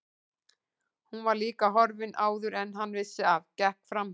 Hún var líka horfin áður en hann vissi af, gekk framhjá